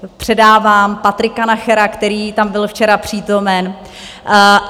Předávám Patrika Nachera, který tam byl včera přítomen.